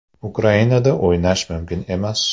Ukrainada o‘ynash mumkin emas?